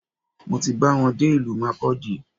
Mo ti ba wọn dé ìlú Markudi